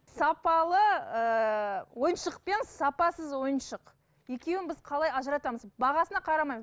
сапалы ыыы ойыншық пен сапасыз ойыншық екеуін біз қалай ажыратамыз бағасына қарамаймын